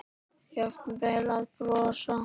Jafnvel að brosa.